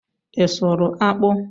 Ị sụrụ akpụ?